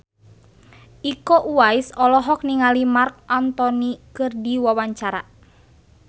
Iko Uwais olohok ningali Marc Anthony keur diwawancara